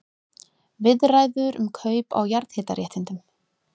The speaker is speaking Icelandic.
Viðræður um kaup á jarðhitaréttindum